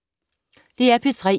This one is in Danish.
DR P3